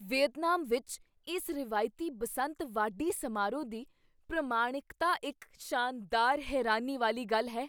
Vietnam ਵਿੱਚ ਇਸ ਰਵਾਇਤੀ ਬਸੰਤ ਵਾਢੀ ਸਮਾਰੋਹ ਦੀ ਪ੍ਰਮਾਣਿਕਤਾ ਇੱਕ ਸ਼ਾਨਦਾਰ ਹੈਰਾਨੀ ਵਾਲੀ ਗੱਲ ਹੈ।